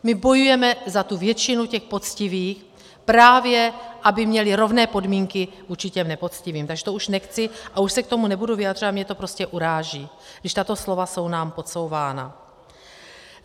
My bojujeme za tu většinu těch poctivých právě, aby měli rovné podmínky vůči těm nepoctivým, takže to už nechci a už se k tomu nebudu vyjadřovat, mě to prostě uráží, když tato slova jsou nám podsouvána.